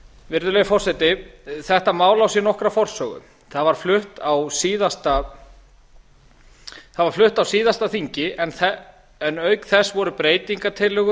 virðulegi forseti þetta mál á sér nokkra forsögu það var flutt á síðasta þingi en auk þess voru breytingartillögur